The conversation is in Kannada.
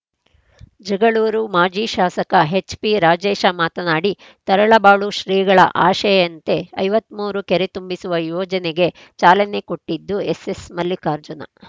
ಜಗಳೂರು ಮಾಜಿ ಶಾಸಕ ಹೆಚ್‌ಪಿರಾಜೇಶ ಮಾತನಾಡಿ ತರಳಬಾಳು ಶ್ರೀಗಳ ಆಶಯಂತೆ ಐವತ್ತ್ ಮೂರು ಕೆರೆ ತುಂಬಿಸುವ ಯೋಜನೆಗೆ ಚಾಲನೆ ಕೊಟ್ಟಿದ್ದು ಎಸ್ಸೆಸ್‌ ಮಲ್ಲಿಕಾರ್ಜುನ